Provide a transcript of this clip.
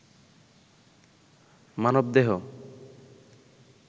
মানবদেহ